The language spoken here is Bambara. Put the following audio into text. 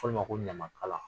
Fɔ olu ma ko ɲamakala.